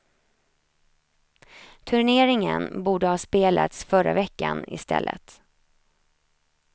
Turneringen borde ha spelats förra veckan istället.